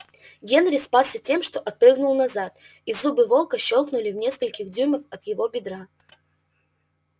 генри спасся тем что отпрыгнул назад и зубы волка щёлкнули в нескольких дюймах от его бедра